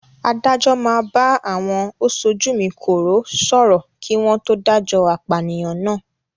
Adájọ́ máa bá àwọn "Osojúmi-kòró" sọ̀rọ̀ kí wọn to dájọ́ apànìyàn náà.